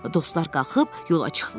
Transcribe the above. Dostlar qalxıb yola çıxdılar.